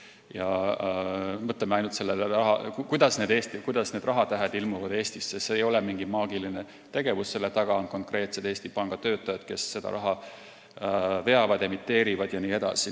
Ja kui me mõtleme ainult sellele, kuidas need rahatähed ilmuvad Eestisse, siis see ei ole mingi maagiline tegevus, selle taga on konkreetsed Eesti Panga töötajad, kes seda raha veavad, emiteerivad jne.